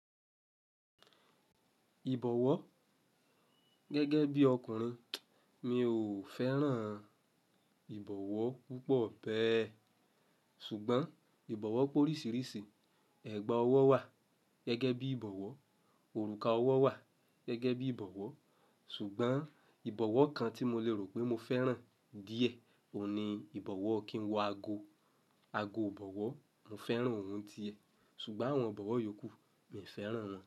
Ìbọ̀wọ́ gẹ́gẹ́ bí ọkùnrin, mi ò fẹ́ràn ìbọ̀wọ́ púpọ̀ bẹ́ẹ̀. Ṣùgbọ́n ìbọ̀wọ́ pé oríṣiríṣi, ẹ̀gbà ọwọ́ wà gẹ́gẹ́ bí ìbọ̀wọ́, òrùka ọwọ́ wà gẹ́gẹ́ bí ìbọ̀wọ́, ṣùgbọ́n ìbọ̀wọ́ kan tí mo le rò pé mo fẹ́ràn díẹ̀ òun ni ìbọ̀wọ́ kí n wo ago, ago ìbọ̀wọ́, mo fẹ́ràn ohun tiẹ̀, ṣùgbọ́n àwọn ìbọ̀wọ́ yòókù mi ò fẹ́ràn wọn.